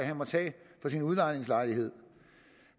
han må tage for sin udlejningslejlighed